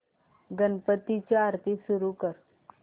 गणपती ची आरती सुरू कर